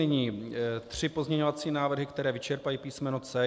Nyní tři pozměňovací návrhy, které vyčerpají písmeno C.